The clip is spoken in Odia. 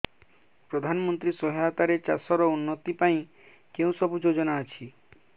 ପ୍ରଧାନମନ୍ତ୍ରୀ ସହାୟତା ରେ ଚାଷ ର ଉନ୍ନତି ପାଇଁ କେଉଁ ସବୁ ଯୋଜନା ଅଛି